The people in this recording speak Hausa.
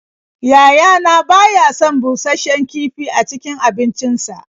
Yayana ba ya son bushasshen kifi a cikin abincinsa.